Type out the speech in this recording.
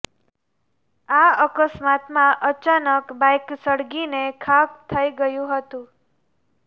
આ અકસ્માતમાં અચાનક બાઈક સળગીને ખાખ થઈ ગયું હતું